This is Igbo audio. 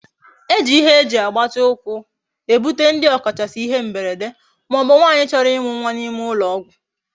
Eji Igwe eji agbati ukwu ebute ndi okachasi ihe mberede ma obu nwanyi choro imu nwa na ime ulo ogwu